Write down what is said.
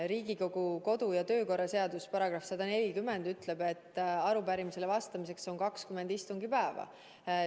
Riigikogu kodu- ja töökorra seaduse § 140 ütleb, et arupärimisele vastamiseks on 20 istungipäeva.